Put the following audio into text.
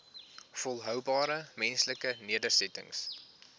volhoubare menslike nedersettings